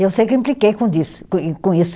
E eu sei que eu impliquei com disso, com com isso.